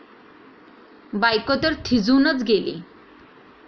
बायकोतर थिजूनच गेली.